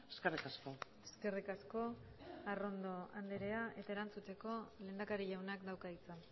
eskerrik asko eskerrik asko arrondo andrea eta erantzuteko lehendakari jaunak dauka hitza